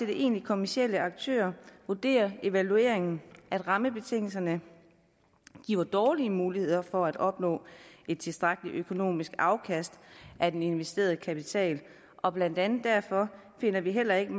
egentlig kommercielle aktører vurderer evalueringen at rammebetingelserne giver dårlige muligheder for at opnå et tilstrækkeligt økonomisk afkast af den investerede kapital og blandt andet derfor finder vi heller ikke